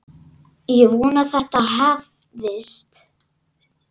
Ég vona að þetta hafist.